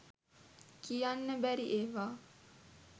කියන්න බැරි ඒවා